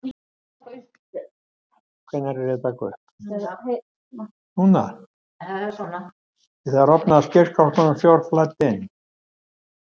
Við það rofnaði skipsskrokkurinn og sjór flæddi inn.